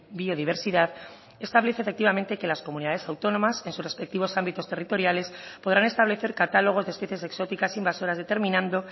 biodiversidad establece efectivamente que las comunidades autónomas en sus respectivos ámbitos territoriales podrán establecer catálogos de especies exóticas invasoras determinando